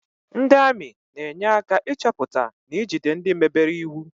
Ndị ami na-enye aka ịchọpụta na ijide ndị mebere iwu